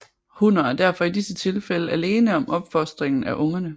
Hunner er derfor i disse tilfælde alene om opfostringen af ungerne